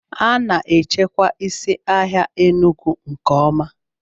A na-echekwa isi ahịa Enugu nke ọma